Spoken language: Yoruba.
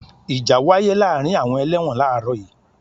Ìjà wáyé láàárín àwọn ẹlẹ́wọ̀n làárọ̀ yii.